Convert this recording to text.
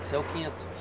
Você é o quinto?